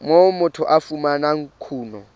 moo motho a fumanang kuno